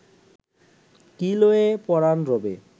কি লয়ে পরাণ রবে